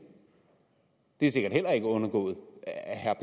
det er sikkert heller ikke undgået herre